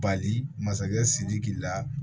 Bali masakɛ sidiki la